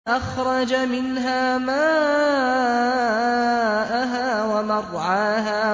أَخْرَجَ مِنْهَا مَاءَهَا وَمَرْعَاهَا